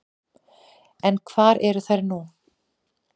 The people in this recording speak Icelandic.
En hvar eru þær nú?